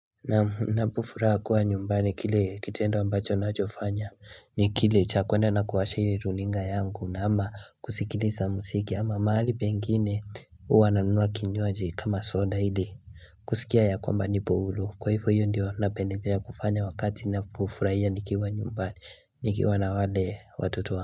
Ninapofuraha kuwa nyumbani kile kitendo ambacho nachofanya ni kile cha kuenda na kuwasha ile runinga yangu na ama kusikiliza muziki ama mahali pengine huwa nanunua kinywaji kama soda ili kusikia ya kwamba nipo huru kwa hivyo hiyo ndiyo napendelea kufanya wakati ninapofurahia nikiwa nyumbani nikiwa na wale watoto.